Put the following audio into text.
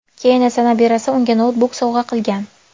Keyin esa nabirasi unga noutbuk sovg‘a qilgan.